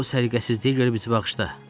Bu səliqəsizliyə görə bizi bağışla.